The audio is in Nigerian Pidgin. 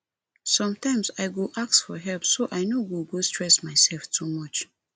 sometimes i go ask for help so i no go stress myself too much